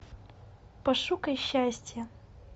пошукай счастье